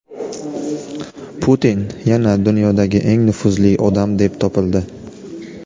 Putin yana dunyodagi eng nufuzli odam deb topildi.